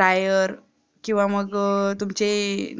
tyre किंवा मग तुमचे